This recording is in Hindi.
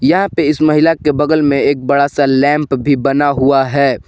यहां पे इस महिला के बगल में एक बड़ा सा लैंप भी बना हुआ है।